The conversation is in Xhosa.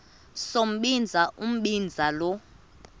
sombinza umbinza lo